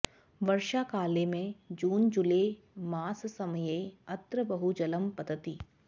वर्षाकाले मे जून जुलै माससमये अत्र बहुजलं पतति